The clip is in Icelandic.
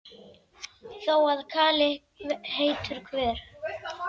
Þó að kali heitur hver